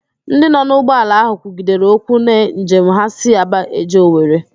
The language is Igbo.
Ndị nọ n'ụgbọala ahụ kwugidere okwu na njem ha si Aba eje Owere